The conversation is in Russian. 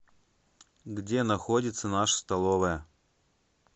где находится наша столовая